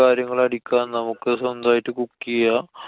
കാര്യങ്ങള് അടിക്കാം. നമുക്ക് സ്വന്തായിട്ട്‌ cook ചെയ്യാം.